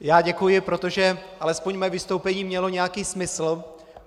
Já děkuji, protože alespoň mé vystoupení mělo nějaký smysl.